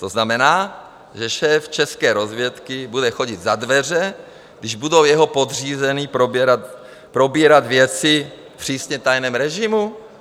To znamená, že šéf české rozvědky bude chodit za dveře, když budou jeho podřízení probírat věci v přísně tajném režimu?